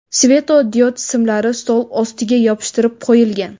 Svetodiod simlari stol ostiga yopishtirib qo‘yilgan.